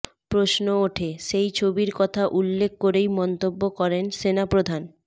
প্রশ্ন ওঠে সেই ছবির কথা উল্লেখ করেই মন্তব্য করেন সেনাপ্রধান